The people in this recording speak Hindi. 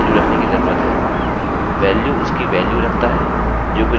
इसे name के बजाय value रखने की जरूरत है